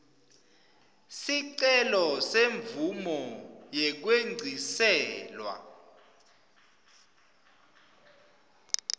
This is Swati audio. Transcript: sicelo semvumo yekwengciselwa